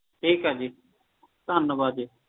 ਠੀਕ ਆ ਜੀ ਧੰਨਵਾਦ ਜੀ